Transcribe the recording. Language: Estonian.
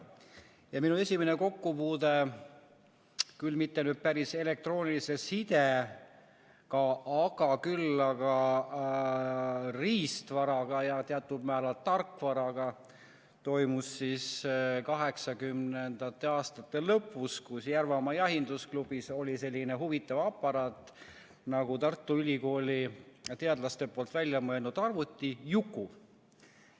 Ja minu esimene kokkupuude küll mitte päris elektroonilise sidega, kuid siiski riistvaraga ja teatud määral tarkvaraga toimus 1980. aastate lõpus, kui Järvamaa Jahindusklubis oli selline huvitav aparaat nagu Tartu Ülikooli teadlaste välja mõeldud arvuti Juku.